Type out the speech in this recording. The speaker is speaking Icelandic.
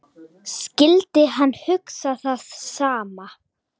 Skyldi hann hugsa það sama?